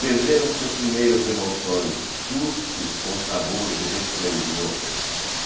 Perderam-se as primeiras emoções, sustos com sabor de resplendor.